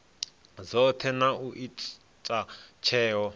dzothe na u ita tsheo